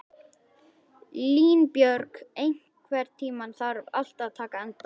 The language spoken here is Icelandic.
Línbjörg, einhvern tímann þarf allt að taka enda.